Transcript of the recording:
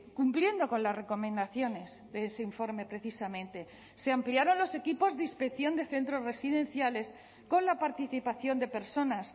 cumpliendo con las recomendaciones de ese informe precisamente se ampliaron los equipos de inspección de centros residenciales con la participación de personas